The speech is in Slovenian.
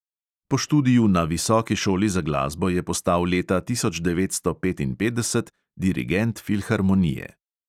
Po študiju na visoki šoli za glasbo je postal leta tisoč devetsto petinpetdeset dirigent filharmonije.